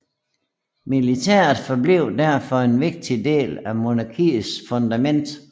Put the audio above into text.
Militæret forblev derfor en vigtig del af monarkiets fundament